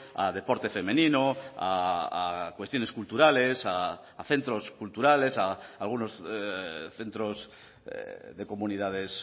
a deporte femenino a cuestiones culturales a centros culturales a algunos centros de comunidades